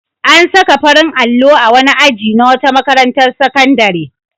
An saka farin allo a wani aji na wata makarantar sakandare.